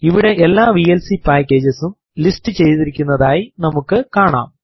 ഇവിടെ എല്ലാ VLC packages ഉം ലിസ്റ്റു ചെയ്തിരിക്കുന്നതായി നമുക്ക് കാണാം